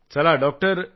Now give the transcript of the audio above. चला डॉक्टर